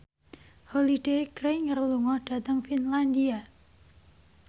Holliday Grainger lunga dhateng Finlandia